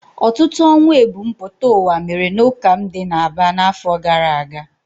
Ọtụtụ ọnwụ ebumpụta ụwa mere n'ụka m dị n'Aba n'afọ gara aga.